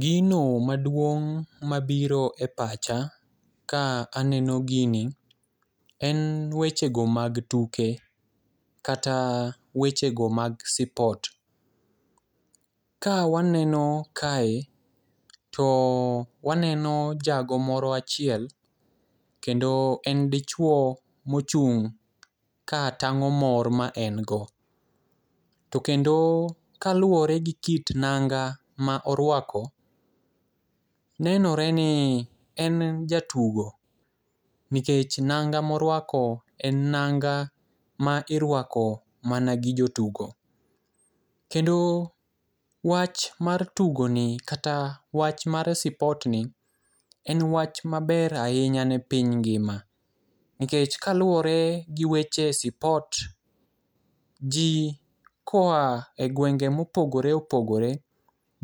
Gino maduong' mabiro e pacha ka aneno gini en wechego mag tuke kata wechego mag sipot. Ka waneno kae to waneno jago moro achiel kendo en dichuo mochung' katang'o mor ma en go. To kendo kaluwore gi kit nanga ma oruako nenore ni en jatugo nikech nanga ma oruako en nanga ma iruako mana gi jotugo. Kendo wach mar tugoni kata wach mar sipotni en wach maber ahinya ne pIny ngima nikech kaluwore g weche sipot, ji koa e gwenge mopogore opogore